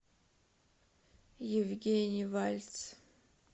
евгений вальц